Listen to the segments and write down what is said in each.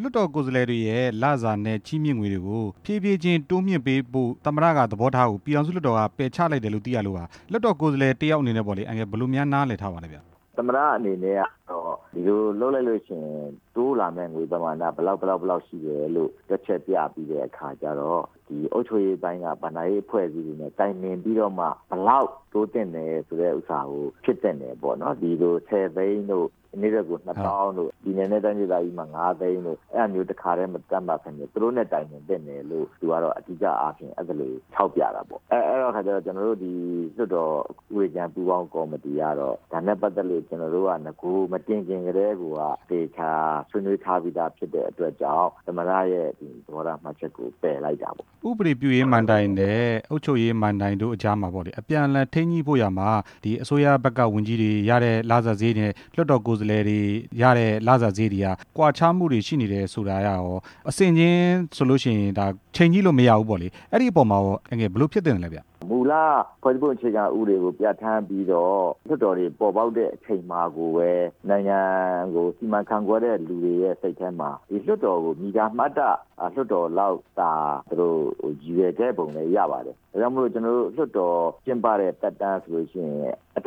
လွှတ်တော်ကိုယ်စားလှယ်တွေရဲ့ လစာနဲ့ချီးမြင့်ငွေတွေကို ဖြေးဖြေးချင်း တိုးမြှင့်ပေးဖို့ သမ္မတကသဘောထားကို ပြည်ထောင်စုလွှတ်တော်က ပယ်ချလိုက်တယ်လို့သိရလို့ပါ၊ လွှတ်တော် ကိုယ်စားလှယ် တစ်ယောက်အနေနဲ့ပေါ့လေ အန်ကယ်လ် ဘယ်လိုများနားလည်ထားပါလဲဗျ။ သမ္မတအနေနဲ့ကတော့ ဒီလိုလုပ်လိုက်လို့ရှိရင် တိုးလာမယ့်ငွေပမာဏ ဘယ်လောက် ဘယ်လောက်ရှိတယ်လို့ တွက်ချက်ပြပြီးတဲ့အခါကျတော့ ဒီအုပ်ချုပ်ရေးပိုင်းက ဘဏ္ဍာရေးအဖွဲ့အစည်းတွေနဲ့ တိုင်ပင်ပြီးတော့မှ ဘယ်လောက်တိုးသင့်တယ်ဆိုတဲ့ဥစ္စာကို ဖြစ်သင့်တယ်ပေါ့နော်၊ ဒီလို ၁ဝ သိန်းတို့ နေ့တွက်ကို ၂ဝဝဝဝ တို့၊ ပြည်နယ်နဲ့တိုင်းဒေသကြီးတို့မှာ ၅ သိန်းတို့ အဲ့ဒါမျိုးတစ်ခါတည်း မသက်မှတ်ပဲနဲ့ သူတို့နဲ့တိုင်ပင်သင့်တယ် လို့ သူကတော့ အဓိကအားဖြင့် အဲ့သလိုတွေ ထောက်ပြတာပေါ့၊ အဲ့ဒီခါကျတော့ ကျနော်တို့ လွှတ်တော်အစည်းအဝေး အရန်ပူးပေါင်းကော်မတီကတော့ ဒါနဲ့ပတ်သက်လို့ အရင်နဂိုင်မတင်ခင်ကတည်းကိုက သေချာဆွေးနွေးထားပြီးသားဖြစ် တဲ့အတွက်ကြောင့် သမ္မတရဲ့ သဘောထားမှတ်ချက်ကို ပယ်လိုက်တာပေါ့။ ဥပဒေပြုရေးမဏ္ဍိုင်နဲ့ အုပ်ချုပ်ရေးမဏ္ဍိုင်တို့ကြားမှာပေါ့လေ အပြန်အလှန်ထိန်းညှိဖို့ရာမှာ ဒီအစိုးရဘက်က ဝန်ကြီးတွေရတဲ့လစာစားရိတ်နဲ့ လွှတ်တော်ကိုယ်စားလှယ်တွေ လစာစားရိတ်တွေက ကွာခြားမှုတွေ ရှိနေတယ်ဆိုတာကရော အဆင့်ခြင်းဆိုလို့ရှိရင် ဒါချိန်ကြည့်လို့မရဘူးပေါ့လေ၊ အဲ့ဒီအပေါ်မှာရော အန်ကယ်လ် ဘယ်လိုဖြစ်သင့်လဲဗျ။ မူလဖွဲ့စည်းပုံ အခြေခံဥပဒေကိုပြဌါန်းပြီးတော့ လွှတ်တော်တွေပေါ်ပေါက်တဲ့ အချိန်မှာကိုပဲ နိုင်ငံကိုစီမံခန့်ခွဲတဲ့လူတွေရဲ့စိတ်ထဲမှာ လွှတ်တော်ကို ညီညာမျှတတဲ့လွှတ်တော်အနေနဲ့ ရည်ရွယ်ခဲ့ပုံလည်းရပါတယ်၊ ဒါကြောင့်မို့လို့ ကျနော်တို့ လွှတ်တော်ကျင်းပတဲ့သက်တမ်းလည်း တ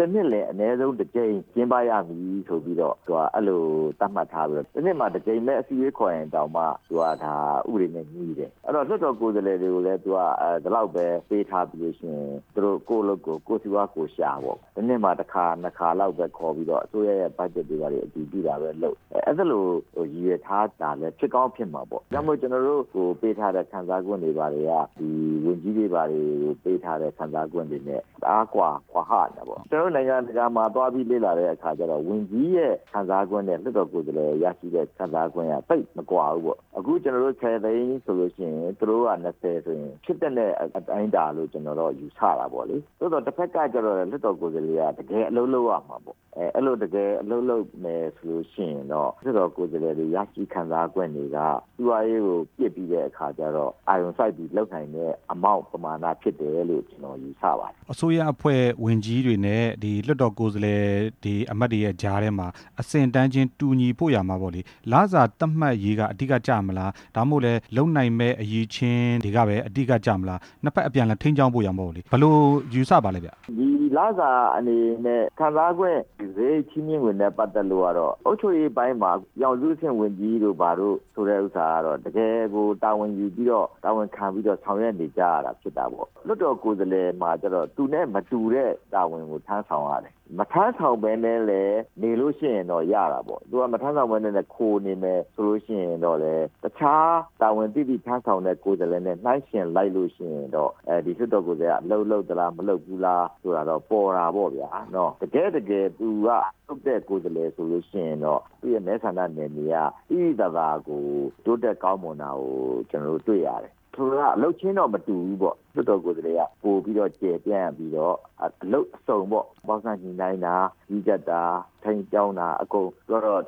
စ်နှစ်ကို တစ်ကြိမ်ကျင်းပရသည်ဆိုပြီးတော့ အဲ့လိုသက်မှတ်ထားပြီးတော့ တစ်နှစ်ကိုတစ်ကြိမ်ပဲ အစည်းအဝေးခေါ်ရင်တောင်မှ သူကဒါဥပဒေနဲ့ညီတယ်၊ အဲ့ဒီတော့ လွှတ်တော်ကိုယ်စားလှယ်တွေကိုလည်း သူကဒီလောက်ပဲပေးထားပြီးလို့ရှိရင် ကိုယ်အလုပ်ကိုယ်လုပ်၊ ကိုယ့်စီးပွားကိုယ်ရှာပေါ့၊ တစ်နှစ်မှာ တစ်ခါနှစ်ခါလောက်ပဲခေါ်ပြီးတော့ အစိုးရရဲ့ ဘက်ဂျက်တွေကနေ သူသိတာပဲလုပ်၊ အဲ့လိုရည်ရွယ်ထားတာလည်း ဖြစ်ကောင်းဖြစ်နေမှာပေါ့၊ ဒါောကာင့်မို့လို့ ကျနော်တို့ကို ပေးထားတဲ့ခံစားခွင့်တွေက ဝန်ကြီးတွေဘာတွေပေးထားတဲ့ ခံစားခွင့်တွေနဲ့ တအားကွာဟနေတာပေါ့၊ ကျနော်တို့ နိုင်ငံတကာကိုလေ့လာကြည့်တဲ့အခါကျတော့ ဝန်ကြီးရဲ့ခံစားခွင့်ထက် လွှတ်တော်ကိုယ်စားလှယ်တွေ ရရှိတဲ့ခံစားခွင့်က သိပ်မကွာဘူးပေါ့၊ အခု ကျနော်တို့ ၁ဝ သိန်းဆိုလို့ရှိရင် သူတို့က ၂ဝ ဆိုရင်ဖြစ်သင့်တဲ့ အတိုင်းအတာလို့ ကျနော်တို့ ယူဆတယ်ပေါ့လေ၊ သို့သော်တဘက်ကကျတော်လည်း လွှတ်တော်ကိုယ်စားလှယ် တကယ်အလုပ်လုပ်ရမယ်ပေါ့လေ၊ အဲ့လိုတကယ်အလုပ်လုပ်လို့ရှိရင်တော့ လွှတ်တော်ကိုယ်စားလှယ်တွေ ရရှိခံစားခွင့်တွေက စီးပွာဒးရေးကို ရရှိခံစားခွင့်တွေရှိတဲ့အခါကျတော့ ပိုပြီးတော့လုပ်နိုင်တဲ့ အမောက်ပမာဏရှိတယ်လို့ ကျနော်ယူဆပါတယ်။ အစိုးရအဖွဲ့ဝန်ကြီးတွေနဲ့ ဒီလွှတ်တော်ကိုယ်စားလှယ် အမတ်တွေရဲ့ကြားထဲမှာ အဆင့်အတန်းချင်းတူညီဖို့ရာမှာပေါ့လေ လစာတူညီသက်မှတ်ရေးက လစာတူညီမှုက အဓိကကျမလား ဒါမှမဟုတ် လုပ်နိုင်မယ့် အရည်အချင်းတွေကပဲ အဓိကကျမလား နှစ်ဘက်အပြန်အလှန် ထိန်းကျောင်းဖို့ရာပေါ့လေ ဘယ်လိုယူဆပါသလဲဗျ။ ဒီလစာအနေနဲ့ ခံစားခွင့်တွေ ချီးမြှင့်ငွေတွေနဲ့ပတ်သက်လို့ကတော့ အုပ်ချုပ်ရေးပိုင်း မှာ ပြည်ထောင်စုအဆင့်ဝန်ကြီးတို့ ဘာတို့ဆိုတဲ့ဥစ္စာကတော့ တကယ်ကိုတာဝန်ယူပြီးတော့ တာဝန်ခံ ပြီးတော့ ဆောင်ရွက်နေကြရတာဖြစ်တာပေါ့၊ လွှတ်တော်ကိုယ်စားလှယ်မှာကျတော့ သူနဲ့မတူညီတဲ့ တာဝန်ကိုထမ်းဆောင်ရတယ်၊ မထမ်းဆောင်ပဲနဲ့လည်း နေလို့ရှိရင်ရတာပေါ့၊ သူကမထမ်းဆောင်ပဲနဲ့ ခိုနေတယ်ဆိုလို့ရှိရင်လည်း တခြားတာဝန်သိသိ ထမ်းဆောင်တဲ့ ကိုယ်စားလှယ်တွေနဲ့ နှိုင်းယှဉ်လိုက်လို့ရှိရင်တော့ ဒီလွှတ်တော်ကိုယ်စားလှယ်က အလုပ်လုပ်သလား၊ မလုပ်ဘူးလားဆိုတာတော့ ပေါ်တာပေါ့ဗျာ၊ တကယ့်တကယ် အလုပ်လုပ်တဲ့ ကိုယ်စားလှယ်ဆိုရင်တော့ သူ့ရဲ့မဲဆန္ဒနယ်မြေက သိသိသာသာကို တိုးတက်ကောင်းမွန်တာကို ကျနော်တို့တွေ့ရတယ်၊ ဆိုလိုတာက အလုပ်ချင်းတော့ မတူဘူးပေါ့ လွှတ်တော်ကိုစားလှယ်က ပိုပြီးတော့ ကျယ်ပြန့်ပြီးတော့ အလုပ်အစုံပေါ့၊ ပေါင်းစပ်ညှိနှိုင်းတာ၊ ကြီးကြပ်တာ၊ ထိန်းကျောင်းတာအကုန်ပြောတော့ ဗ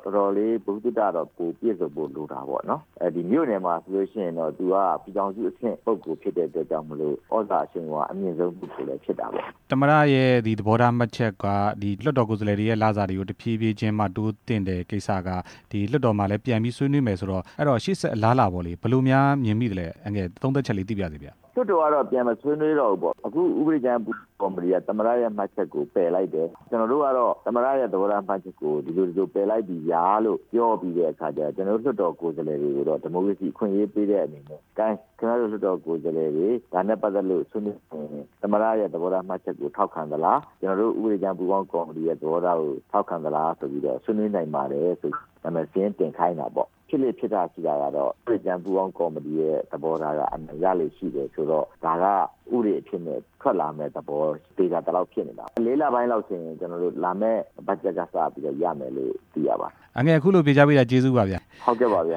ဟုသုတတော့ ပိုပြည့်စုံဖို့လိုတာပေါ့နော်၊ မြို့နယ်မှာဆိုရင်တော့ သူကပြည်ထောင်စုအဆင့်ပုဂ္ဂိုလ် ဖြစ်တဲ့ အတွက်ကြောင့်မို့လို့ သြဇာအရှိန်အဝါအမြင့်ဆုံး ပုဂ္ဂိုလ်လည်းဖြစ်တာပေါ့။ သမ္မတရဲ့သဘောထားမှတ်ချက်က လွှတ်တော်ကိုယ်စားလှယ်တွေရဲ့ လစာတွေကို တဖြေးဖြေးချင်းမှ တိုးသင့်တယ်ကိစ္စက ဒီလွှတ်တော်မှာလည်း ပြန်ပြီးဆွေးနွေးမယ်ဆိုတော့ အဲ့ဒီတော့ ရှေ့ဆက် အလားအလာပေါ့လေ ဘယ်လိုများမြင်မိလဲ၊ အန်ကယ်လ် သုံးသပ်ချက်လေး သိပါရစေချင်ဗျ။ လွှတ်တော်ကတော့ ပြန်မဆွေးနွေးတော့ဘူးပေါ့၊ အခုဥပဒေကြမ်းကော်မတီက သမ္မတ ရဲ့မှတ်ချက်ကို ပယ်လိုက်တယ်၊ ကျနော်တို့ကတော့ သမ္မတရဲ့သဘောထားမှတ်ချက်ကို ဒီလိုပယ်လိုက်ပြီဗျာလို့ ပြောပြီး တဲ့အခါကျတော့ လွှတ်တော်ကိုယ်စားလှယ်တွေကိုတော့ ဒီမိုကရေစီအခွင့်အရေးပေးတဲ့အနေနဲ့ ကိုင်း ခင်ဗျားတို့ လွှတ်တော်ကိုယ်စားလှယ်တွေ ဒါနဲ့ပတ်သက်လို့ မဆွေးနွေးခင် သမ္မတရဲ့သဘောထားမှတ်ချက်ကို ထောက်ခံသလား ကျနော်တို့ဥပဒေကြမ်းပူးပေါင်းကော်မတီရဲ့ သဘောထားကို ထောက်ခံသလားဆိုပြီးတော့ ဆွေးနွေးနိုင်ပါတယ်ဆိုပြီး နာမည်စာရင်းတင်ခိုင်းတာပေါ့၊ ဖြစ်လေ့ဖြစ်ထရှိတာကတော့ ဥပဒေကြမ်းပူးပေါင်းကော်မတီရဲ့ သဘောထားက အမှန်ရလေ့ရှိတယ်ဆိုတော့ ဒါကဥပဒေအဖြစ်နဲ့ထွက်လာမယ့်သဘော သေချာသလောက်ဖြစ်နေတာပေါ့၊ ၄ လ ပိုင်းလောက်ဆိုရင် ကျနော်တို့ လာမယ့်ဘက်ဂျက်ကစပြီးတော့ ရမယ်လို့သိရပါတယ်။ အန်ကယ်လ် အခုလိုဖြေကြားပေးတာ ကျေးဇူးပါဗျ။ ဟုတ်ကဲ့ပါဗျ